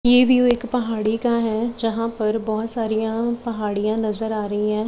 यह व्यू एक पहाड़ी का है जहां पर बहोत सारियां पहाड़ियां नजर आ रही है।